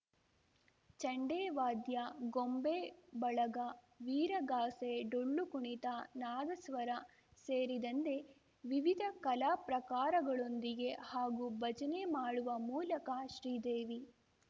ಚಂಡೆ ವಾದ್ಯ ಗೊಂಬೆ ಬಳಗ ವೀರಗಾಸೆ ಡೊಳ್ಳು ಕುಣಿತ ನಾದಸ್ವರ ಸೇರಿದಂತೆ ವಿವಿಧ ಕಲಾ ಪ್ರಕಾರಗಳೊಂದಿಗೆ ಹಾಗೂ ಭಜನೆ ಮಾಡುವ ಮೂಲಕ ಶ್ರೀದೇವಿ